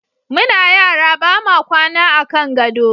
Muna yara ba ma kwana a kan gado.